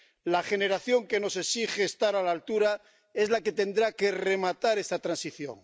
La generación que nos exige estar a la altura es la que tendrá que rematar esta transición.